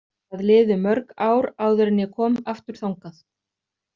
Það liðu mörg ár áður en ég kom aftur þangað.